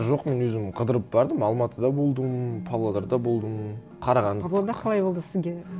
жоқ мен өзім қыдырып бардым алматыда болдым павлодарда болдым қарағанды павлодар қалай болды сізге